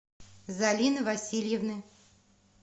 залины васильевны